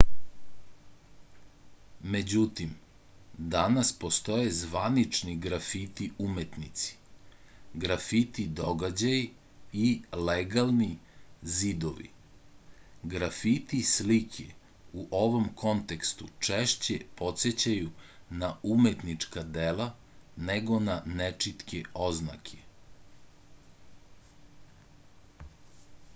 međutim danas postoje zvanični grafiti umetnici grafiti događaji i legalni zidovi grafiti slike u ovom kontekstu češće podsećaju na umetnička dela nego na nečitke oznake